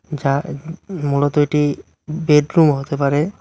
যা মূলত এটি বেডরুম হতে পারে।